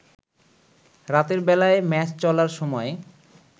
রাতের বেলায় ম্যাচ চলার সময়